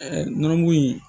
nɔnɔmugu in